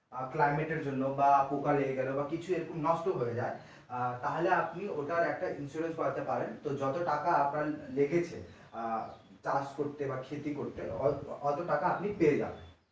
এর জন্য বা পোকা লেগে গেলো কিছু এরকম নষ্ট হয়ে যায় আহ তাহলে আপনি ওটার জন্য একটা insurance করাতে পারেন যত টাকা আপনার লেগেছে আহ চাষ করতে বাঃ ক্ষেতি করতে অত টাকা আপনি পেয়ে যাবেন।